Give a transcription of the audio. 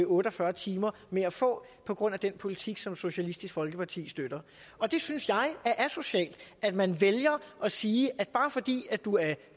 otte og fyrre timer med at få på grund af den politik som socialistisk folkeparti støtter og jeg synes det er asocialt at man vælger at sige at bare fordi du er